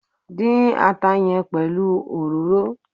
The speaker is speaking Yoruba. Dín ata yẹn pelu òróró!